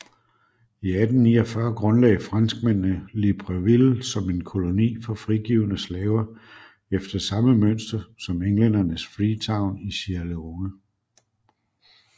I 1849 grundlagde franskmændene Libreville som en koloni for frigivne slaver efter samme mønster som englændernes Freetown i Sierra Leone